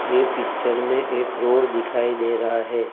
ये पिक्चर में एक रोड दिखाई दे रहा है।